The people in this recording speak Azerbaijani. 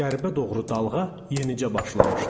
Qərbə doğru dalğa yenicə başlamışdı.